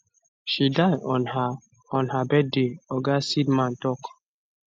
she die on her on her birthday oga seidman tok